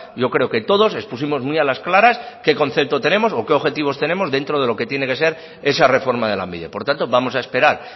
yo creo que todos expusimos muy a las claras qué concepto tenemos o qué objetivos tenemos dentro de lo que tiene que ser esa reforma de lanbide por tanto vamos a esperar